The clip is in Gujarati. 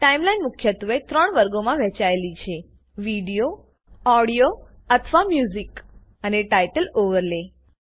ટાઈમલાઈન મુખ્યત્વે ત્રણ વર્ગોમાં વહેંચાયેલી છે વીડિયો audioમ્યુઝિક અને ટાઇટલ ઓવરલે